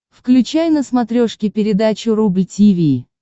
включай на смотрешке передачу рубль ти ви